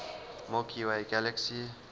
milky way galaxy